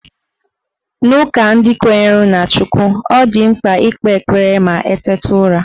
N'ụka ndị kwenyere na Chukw, ọ dị mkpa ikpe ekpere ma eteta ụra